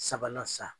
Sabanan san